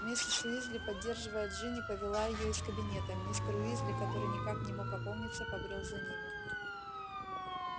миссис уизли поддерживая джинни повела её из кабинета мистер уизли который никак не мог опомниться побрёл за ними